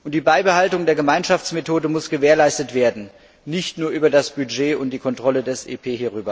Die Beibehaltung der Gemeinschaftsmethode muss gewährleistet werden, nicht nur über das Budget und die Kontrolle des EP.